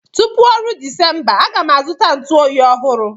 Tupu oru Disemba, A ga m azụta igwe ntu oyi ọhụrụ.